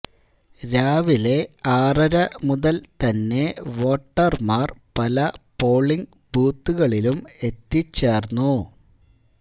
രാവിലെ ആറര മുതല് തന്നെ വോട്ടര്മാര് പല പോളിംഗ് ബൂത്തുകളിലും എത്തിച്ചേര്ന്നു